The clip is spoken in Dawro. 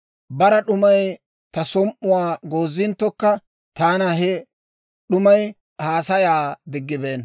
Bara d'umay ta som"uwaa goozinttokka, taana he d'umay haasayaa diggibeenna.